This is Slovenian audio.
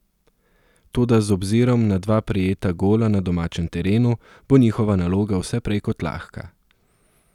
Toda z obzirom na dva prejeta gola na domačem terenu, bo njihova naloga vse prej kot lahka.